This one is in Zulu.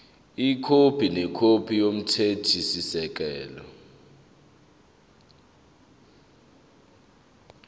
ikhophi nekhophi yomthethosisekelo